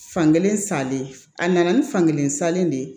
Fankelen salen a nana ni fankelen salen de ye